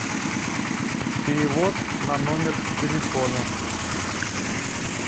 перевод на номер телефона